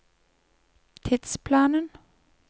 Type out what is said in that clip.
tidsplanen